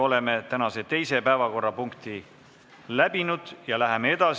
Oleme tänase teise päevakorrapunkti läbi arutanud.